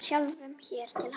Sjálfum sér til handa.